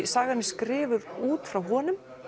sagan skrifuð út frá honum